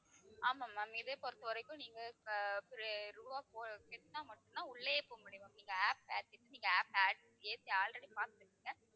ஆமாம் ma'am இதைப் பொறுத்தவரைக்கும் நீங்க அஹ் ரூபாய் அஹ் கட்டினா மட்டும்தான், உள்ளேயே போக முடியும் ma'am. நீங்க app ஏத்திட்டு, நீங்க app add ஏத்தி already பார்த்துருப்பீங்க.